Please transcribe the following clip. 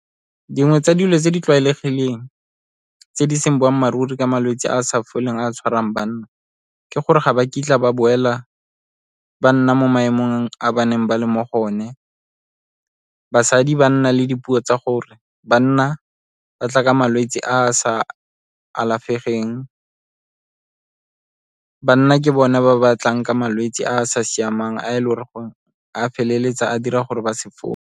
Dingwe tsa dilo tse di tlwaelegileng tse di seng boammaaruri ka malwetse a a sa foleng a a tshwarang banna ke gore ga ba kitla ba boela, ba nna mo maemong a ba neng ba le mo go one. Basadi ba nna le dipuo tsa gore banna ba tla ka malwetse a a sa alafegeng. Banna ke bona ba ba tlang ka malwetse a a sa siamang a feleletsa a dira gore ba se .